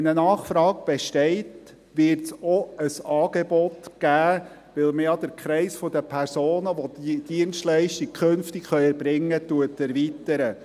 Wenn eine Nachfrage besteht, wird es auch ein Angebot geben, da man ja den Kreis der Personen, die diese Dienstleistung künftig erbringen können, erweitert.